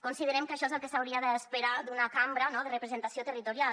considerem que això és el que s’hauria d’esperar d’una cambra no de representació territorial